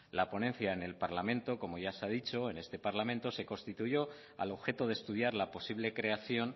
la ponencia en este parlamento como ya se ha dicho se constituyó al objeto de estudiar la posible creación